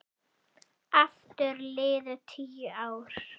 Aftur liðu tíu ár.